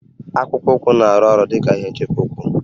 Akpụkpọ ụkwụ na-arụ ọrụ dị ka ihe nchebe ụkwụ